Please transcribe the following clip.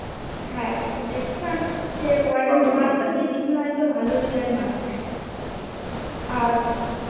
হ্যা একটু দেখতো কারণ সে Warden মানত যে জিম্মি হয়তো ভালো হৃদয়ের মানুষ আর